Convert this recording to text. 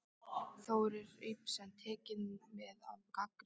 Þórir Ibsen: Tekið mið af gagnrýni?